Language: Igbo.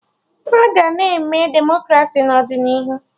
Aga na-eme Demokraci n'ọdịnihu